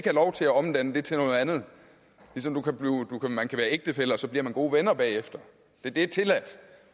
lov til at omdanne det til noget andet ligesom man kan være ægtefæller og så bliver man gode venner bagefter det er tilladt